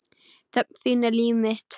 Þögn þín er líf mitt.